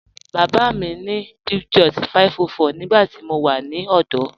Baba mi maa ni Peugeot 504 nígbàtí mó wà ní ọdọ.